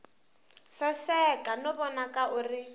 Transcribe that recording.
saseka no vonaka u ri